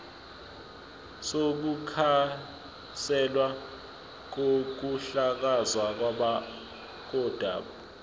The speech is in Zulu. sokukhanselwa kokuhlakazwa kodaba